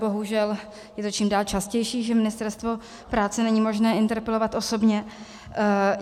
Bohužel je to čím dál častější, že Ministerstvo práce není možné interpelovat osobně.